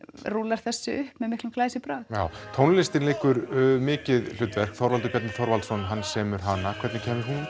rúllar þessu upp með miklum glæsibrag já tónlistin leikur mikið hlutverk Þorvaldur Bjarni Þorvaldsson semur hana hvernig